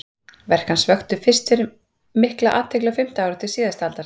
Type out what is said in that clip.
Verk hans vöktu fyrst mikla athygli á fimmta áratug síðustu aldar.